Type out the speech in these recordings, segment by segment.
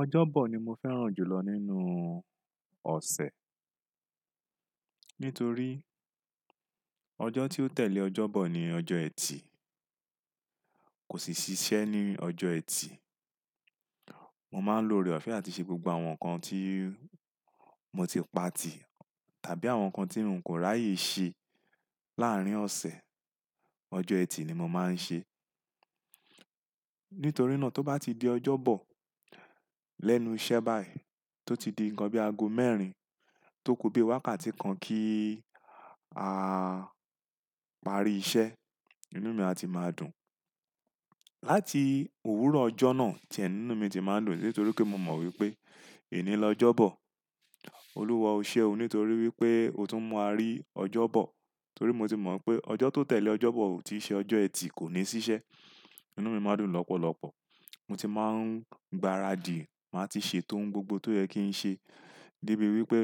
Ọjọ́bọ̀ ni mo fẹ́ràn jù lọ nínú ọ̀sẹ̀. Nítorí ọjọ́ tí ó tẹ̀lé ọjọ́bọ̀ ni ọjọ́ ẹtì. Kò sì ṣiṣẹ́ ní ọjọ́ ẹtì. Mo máa ń lo ọ̀rẹ́ ọ̀fẹ́ àti ṣe gbogbo àwọn nǹkan tí mo ti pa tì tàbí àwọn nǹkan tí mò ń kò ráyè ṣe láàrín ọ̀sẹ̀, ọjọ́ ẹtì ni mo máa ń ṣe. Nítorí náà tó bá ti di ọjọ́bọ̀ lẹ́nu iṣẹ́ báyìí tó ti di ǹnkan bí aago mẹ́rin tó kò bí wákàtí kan kí a parí iṣẹ́, inú mi a ti máa dùn. Láti òwúrọ̀ ọjọ́ náà tíẹ̀ nínú mi ti máa ń dùn nítorí pé mo mọ̀ wípé ení lọ ọjọ́bọ̀. Olúwa o ṣe o nítorí wípé o tún mu wa rí ọjọ́bọ̀ torí mo ti mọ̀ n pé ọjọ́ tó tẹ̀lé ọjọ́bọ̀ ò tí ì ṣe ọjọ́ ẹtì, kò ní ṣiṣẹ́. Inú mi máa dùn lọ́pọ̀lọpọ̀. Mo ti máa ń gbaradì, màá ti ṣètò oun gbogbo tó yẹ kí n ṣe debí wípé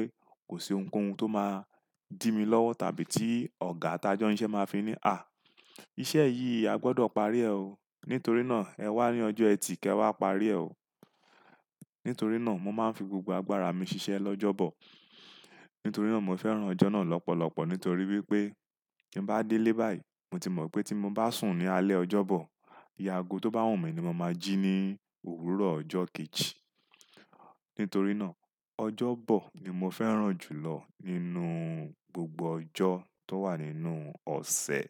kò sí ohunkóhun tó máa dí mi lọ́wọ́ tàbí tí ọ̀gá tajọ́ siṣẹ́ máa fi ní "à, iṣẹ́ yìí a gbọdọ̀ parí ẹ o. Nítorí náà ẹ wá ní ọjọ́ ẹtì, kẹ wá parí ẹ o." Nítorí náà mo máa ń fi gbogbo agbára mi ṣiṣẹ́ lọ́jọ́bọ̀. Nítorí náà mo fẹ́ràn ọjọ́ náà lọ́pọ̀lọpọ̀ nítorí wípé tí n bá délé báyìí, mo ti mọ̀ pé tí mo bá sùn ní alẹ́ ọjọ́bọ̀, iye aago tó bá wù mí ní mo máa jí ní òwúrọ̀ ọjọ́ kejì. Nítorí náà ọjọ́bọ̀ ni mo fẹ́ràn jù lọ nínú gbogbo ọjọ́ tó wà nínú ọ̀sẹ̀.